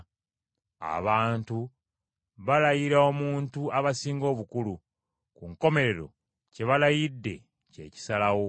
Abantu balayira omuntu abasinga obukulu, ku nkomerero kye balayidde kye kisalawo.